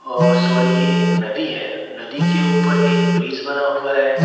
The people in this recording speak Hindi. औ सॉरी ये एक नदी है नदी के ऊपर एक ब्रिज बना हुआ है।